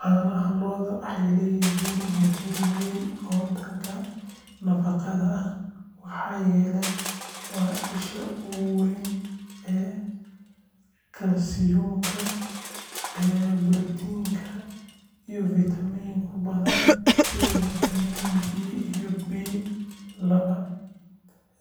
Caanaha lo’da waxay leeyihiin muhiimad weyn oo dhanka nafaqada ah maxaa yeelay waa isha ugu weyn ee kalsiyumka, borotiinka iyo fiitamiino badan sida fiitamiin D iyo B laba.